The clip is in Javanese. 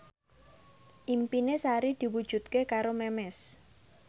impine Sari diwujudke karo Memes